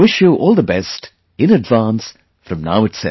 I wish you all the best in advance from now itself